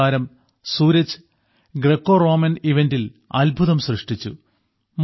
നമ്മുടെ താരം സൂരജ് ഗ്രക്കോറോമൻ ഈവന്റിൽ അത്ഭുതം സൃഷ്ടിച്ചു